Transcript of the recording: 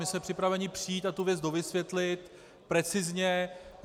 My jsme připraveni přijít a tu věc dovysvětlit precizně.